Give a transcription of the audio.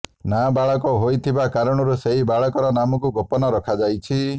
ନାବାଳକ ହୋଇଥିବା କାରଣରୁ ସେହି ବାଳକର ନାମକୁ ଗୋପନ ରଖାଯାଇଛି